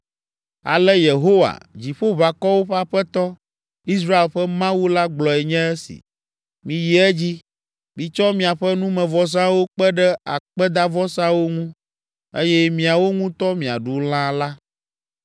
“Ale Yehowa, Dziƒoʋakɔwo ƒe Aƒetɔ, Israel ƒe Mawu la gblɔe nye esi: ‘Miyi edzi, mitsɔ miaƒe numevɔsawo kpe ɖe akpedavɔsawo ŋu eye miawo ŋutɔ miaɖu lã la.